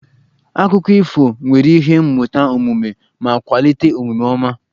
Akụkọ ifo nwere ihe mmụta omume ma kwalite omume ọma